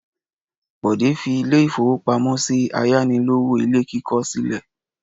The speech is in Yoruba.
Bọ̀dé fi ilé-ìfowópamọ́sí ayánilówó ilé kíkọ́ sílẹ̀?